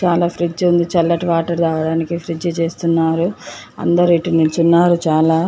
చల్ల ఫ్రిడ్జ్ ఉంది. చల్లని వాటర్ తాగడానికి ఫ్రిడ్జ్ చేస్తున్నారు. అందరూ ఇటు నిల్చున్నారు చాలా--